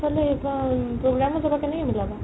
সেইফালে program ত যাবা কেনেকে মিলাবা ?